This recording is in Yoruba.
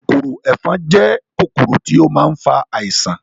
Kòkòrò ẹ̀fọn jẹ́ kòkòrò tí ó ma ń fa àisàn